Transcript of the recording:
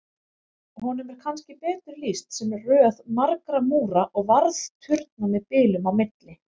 Honum er kannski betur lýst sem röð margra múra og varðturna með bilum á milli.